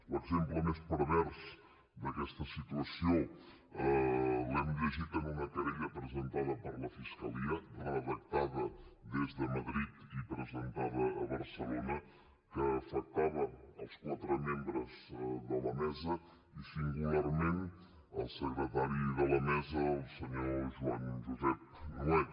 l’exemple més pervers d’aquesta situació l’hem llegit en una querella presentada per la fiscalia redactada des de madrid i presentada a barcelona que afectava els quatre membres de la mesa i singularment el secretari de la mesa el senyor joan josep nuet